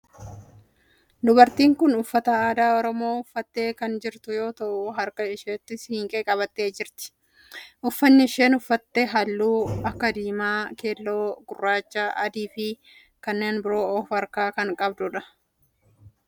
Dubartiin tun uffata aadaa oromoo uffattee kan jirtu yoo ta'u harka isheettii siinqee qabattee jirti. Uffanni isheen uffatte halluu akka diimaa, keelloo, gurraacha, adii fi kanneen biroo of irraa kan qabudha.